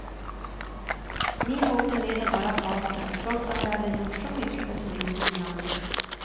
Min åkte med av bara farten, trots att jag hade gjort så mycket för turismen i landet.